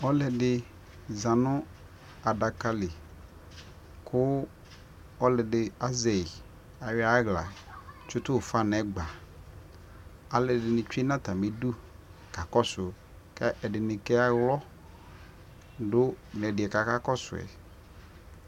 ɛmɛ lɛ ʋdzali dili kʋɔsiidiyanʋalʋɛdini atamili, alʋ waniɛdiazɛ ikpakɔ, ɛdi azɛ phɔtɔ kʋ akɛ dɛ ɛdibi kʋ akɛ biɛyi ɛsɛni kʋ ɔsiiɛ kayɛsɛ dʋ, alʋ dʋ awʋ wɛ dibi yanʋ atami ɛtʋ